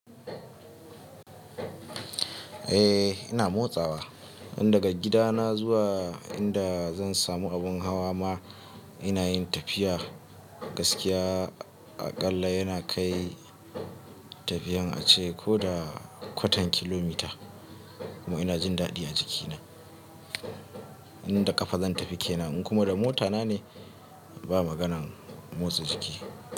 Eh ina motsawa, in daga gidana zuwa inda zan samu abun hawa ma ina yin tafiya. Gaskiya aƙalla yana kai tafiyan ace ko da kwatan kilomita kuma ina jin daɗi a jikina. In da kafa zan tafi kenan in kuma da mota na ne ba maganan motsa jiki.